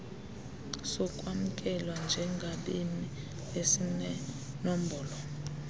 sokwamkelwa njengabemi esinenombolo